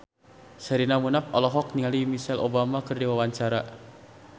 Sherina Munaf olohok ningali Michelle Obama keur diwawancara